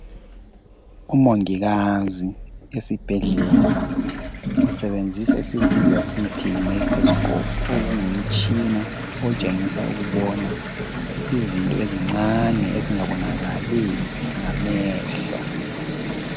Umongikazi esibhedlela usebenzisa esikubiza sithi yi mayikrosikophu okungumtshina otshengisa ukubona izinto ezincane ezingabonakali ngamehlo.